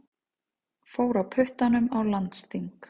Fór á puttanum á landsþing